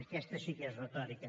aquesta sí que és retòrica